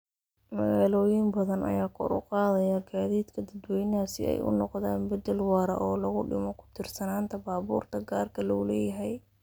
Magaalooyin badan ayaa kor u qaadaya gaadiidka dadweynaha si ay u noqdaan beddel waara oo lagu dhimo ku tiirsanaanta baabuurta gaarka loo leeyahay.